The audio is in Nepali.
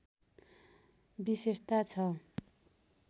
विशेषता छ